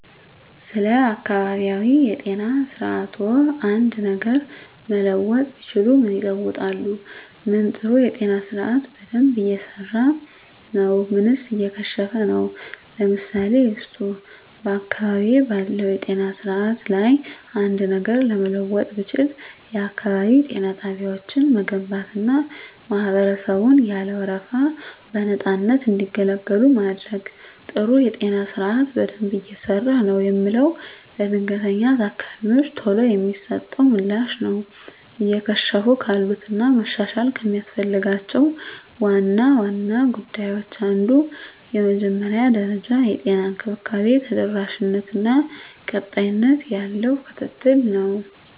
ስለ አካባቢያዊ የጤና ስርዓትዎ አንድ ነገር መለወጥ ቢችሉ ምን ይለውጣሉ? ምን ጥሩ የጤና ስርአት በደንብ እየሰራ ነው ምንስ እየከሸፈ ነው? ምሳሌ ይስጡ። *በአካባቢዬ ባለው የጤና ስርዓት ላይ አንድ ነገር ለመለወጥ ብችል፣ *የአካባቢ ጤና ጣቢያዎችን መገንባትና ማህበረሰቡን ያለ ወረፋ በነፃነት እንዲገለገሉ ማድረግ። *ጥሩ የጤና ስርዓት በደንብ እየሰራ ነው የምለው፦ ለድንገተኛ ታካሚወች ቶሎ የሚሰጠው ምላሽ ነው። *እየከሸፉ ካሉት እና መሻሻል ከሚያስፈልጋቸው ዋና ዋና ጉዳዮች አንዱ የመጀመሪያ ደረጃ የጤና እንክብካቤ ተደራሽነት እና ቀጣይነት ያለው ክትትል ነው።